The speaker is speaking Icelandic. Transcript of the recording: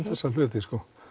þessa hluti